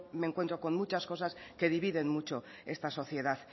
me encuentro con muchas cosas que dividen mucho esta sociedad